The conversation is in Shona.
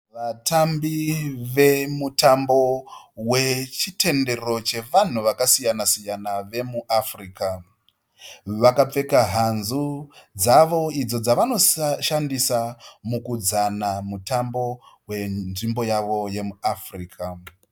Vatambi wemutambo wechitendero chevanhu vakasiyana siyana vemuafrica, vakapfeka hanzu dzavo idzo dzavanoshandisa mukuudzana mutambo wenzvimbo yavo yemu africa.